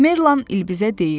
Merlan İlbizə deyir: